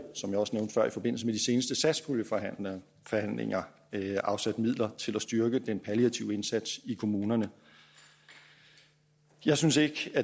som jeg også nævnte før i forbindelse med de seneste satspuljeforhandlinger afsat midler til at styrke den palliative indsats i kommunerne jeg synes ikke